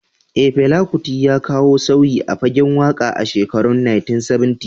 Eh, Fela Kuti ya kawo sauyi a fagen waka a shekarun 1970.